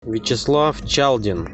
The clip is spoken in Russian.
вячеслав чалдин